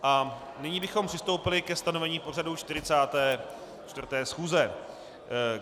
A nyní bychom přistoupili ke stanovení pořadu 44. schůze.